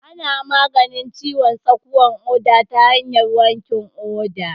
Ana maganin ciwon tsakuwan ƙoda ta hanyar wankin ƙoda